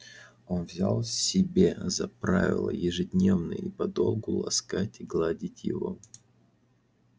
он взял себе за правило ежедневно и подолгу ласкать и гладить его